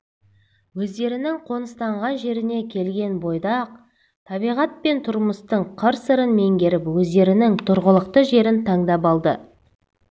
өздерінің қоныстанған жеріне келген бойда-ақ табиғат пен тұрмыстың қырсырын меңгеріп өздерінің тұрғылықты жерін таңдап алды